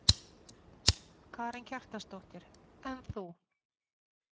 Karen Kjartansdóttir: En þú?